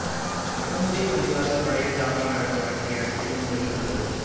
Mahmoudiya பள்ளிவாசல் பழைய Jaffa நகர வடகிழக்கு மூலையில் உள்ளது